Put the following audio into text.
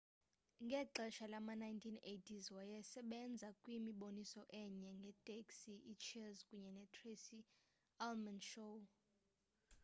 ngexesha lama-1980s wayesebenza kwimiboniso enje ngeteksi iicheers kunye netracy ullman show